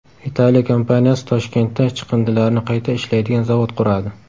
Italiya kompaniyasi Toshkentda chiqindilarni qayta ishlaydigan zavod quradi.